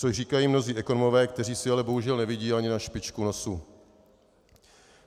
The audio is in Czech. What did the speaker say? Což říkají mnozí ekonomové, kteří si ale bohužel nevidí ani na špičku nosu.